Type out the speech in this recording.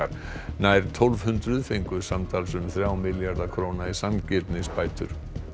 nær tólf hundruð fengu samtals um þrjá milljarða króna í sanngirnisbætur